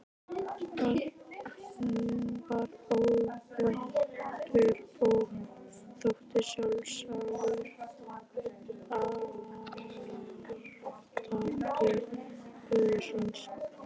Hann var ókvæntur og þótti sjálfsagður arftaki föður síns.